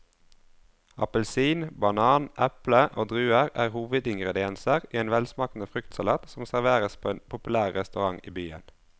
Appelsin, banan, eple og druer er hovedingredienser i en velsmakende fruktsalat som serveres på en populær restaurant i byen.